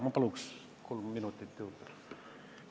Ma palun kolm minutit juurde!